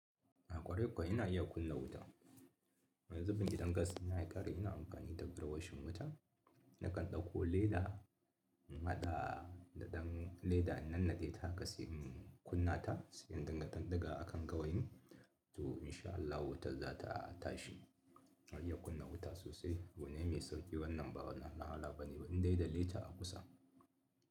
A ƙwarai kuwa ina iya kunna wuta. Wani zubin idan gas dina ya ƙare ina amfani da garwashin wuta. Nakan ɗauko leda, na haɗa daɗan leda, in nanade ta a kasai in kunna ta, sai in ɗinga ɗan digawa a kan gawayin. To insha Allah wutar za ta tashi. Ina iya kunna wuta sosai. Abu ne mai sauƙi wannan ba wani wahala bane, indai da leta a kusa.